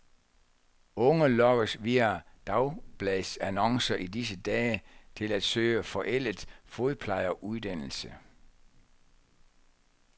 Unge lokkes via dagbladsannoncer i disse dage til at søge forældet fodplejeruddannelse.